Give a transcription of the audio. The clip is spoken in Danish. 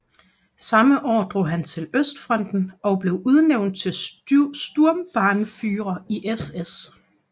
Samme år drog han til østfronten og blev udnævnt til Sturmbannführer i SS